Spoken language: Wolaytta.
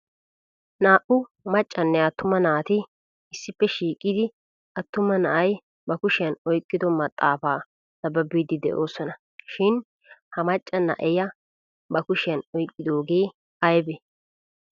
naa''u maccanne attuma naati issippe shiiqidi attuma na'ay ba kushiyan oyqqido maxaafa naababbidi de'oosona. shin ha macca na'iya ba kushiyan oyqqooge aybe?